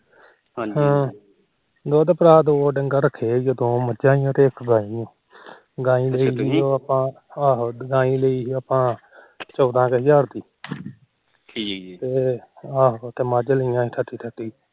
ਦੁਧ ਭਰਾ ਦੋ ਡੰਗਰ ਰੱਖੇ ਦੋ ਮੱਝਾ ਤੇ ਇੱਕ ਗਾਈ ਗਾਈ ਲਈ ਸੀ ਆਪਾ ਚੋਦਾ ਕ ਹਜਾਰ ਦੀ ਤੇ ਮੱਝ ਲਈ ਆਪਾ ਠੱਤੀ ਠੱਤੀ ਹਜਾਰ